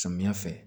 Samiya fɛ